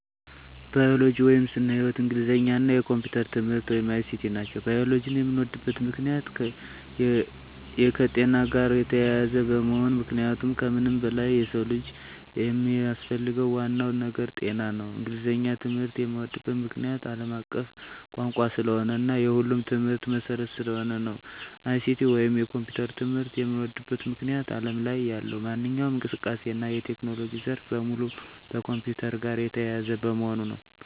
ባዮሎጂ (ስነ-ህይዎት)፣ እንግሊዘኛ እና የኮምፒዩተር ትምህርት(ICT) ናቸው። ባዮሎጂን የምወድበት ምክንያት - የከጤና ጋር የተያያዘ በመሆኑ ምክንያቱም ከምንም በላይ የሰው ልጅ የሚያስፈልገው ዋናው ነገር ጤና ነው። እንግሊዘኛን ትምህርት የምዎድበት ምክንያት - አለም አቀፍ ቋንቋ ስለሆነ እና የሁሉም ትምህርቶች መሰረት ስለሆነ ነው። ICT ወይንም የኮምፒውተር ትምህርት የምዎድበት ምክንያት አለም ላይ ያለው ማንኛውም እንቅስቃሴ እና የቴክኖሎጂ ዘርፍ በሙሉ ከኮምፒውተር ጋር የተያያዘ በመሆኑ ነው።